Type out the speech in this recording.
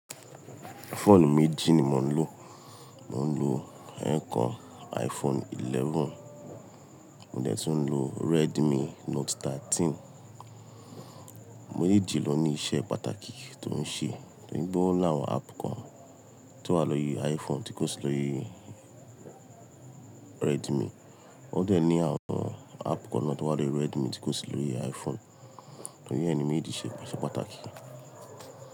Fóònù méjì ni mò ń lò. Mò ń lò ẹ́ẹ̀kan iPhone 11, mo dẹ̀ tún ń lo Redmi Note 13. Mejeejì lò ní iṣẹ́ pàtàkì tó ń ṣe. Toripe ó lawọn app kan tó wà lórí iPhone tí kò sí lórí Redmi, ó de ní àwọn app kan náà tó wà lórí Redmi tí kò sí lórí iPhone. Tori e ni mejeéjì ṣe se pàtàkì.